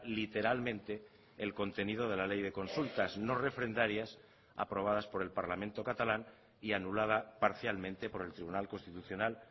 literalmente el contenido de la ley de consultas no refrendarias aprobadas por el parlamento catalán y anulada parcialmente por el tribunal constitucional